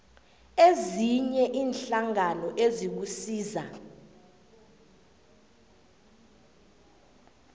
ezinye iinhlangano ezikusiza